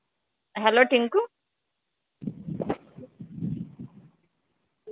Hello Tinku